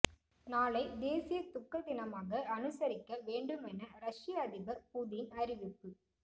நாளை தேசிய துக்க தினமாக அனுசரிக்க வேண்டும் என ரஷ்ய அதிபர் புதின் அறிவிப்பு